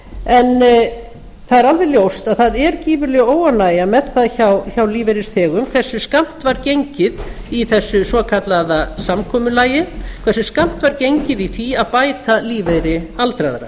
en það er alveg ljóst að það er gífurleg óánægja með það hjá lífeyrisþegum hversu skammt var gengið í þessu svo kallaða samkomulagi hversu skammt var gengið í því að bæta lífeyri aldraðra